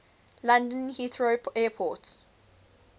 london heathrow airport